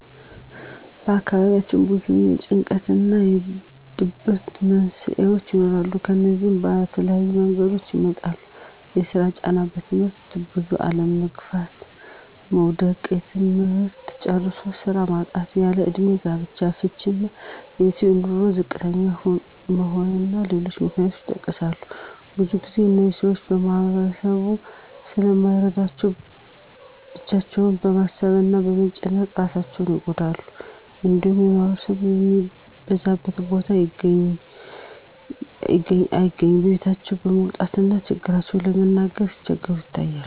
በአካባቢያችን ብዙ የጭንቀት እና የድብርት መንስሄዎች ይኖራሉ። እነዚህም በተለያየ መንገዶች ይመጣሉ የስራ ጫና; በትምህርት ብዙ አለመግፋት (መዉደቅ); ትምህርት ጨርሶ ስራ ማጣት; ያለእድሜ ጋብቻ; ፍች እና የቤተሰብ በኑሮ ዝቅተኛ መሆን እና ሌሎችም ምክንያቶች ይጠቀሳሉ። ብዙ ግዜ እነዚህን ሰወች ማህበረሰቡ ስለማይረዳቸው ብቻቸውን በማሰብ እና በመጨነቅ እራሳቸውን ይጎዳሉ። እንዲሁም ማህበረሰብ ከሚበዛበት ቦታ አይገኙም። ከቤታቸውም ለመውጣት እና ችግራቸውን ለመናገር ሲቸገሩ ይታያሉ።